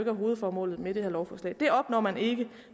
er hovedformålet med det her lovforslag det opnår man ikke